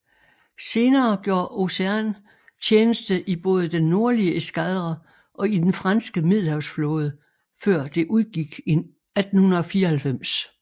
Senere gjorde Océan tjeneste i både den nordlige eskadre og i den franske Middelhavsflåde før det udgik i 1894